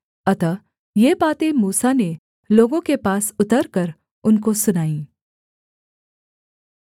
अतः ये बातें मूसा ने लोगों के पास उतरकर उनको सुनाईं